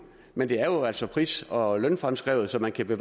men det er jo altså pris og og lønfremskrevet så man kan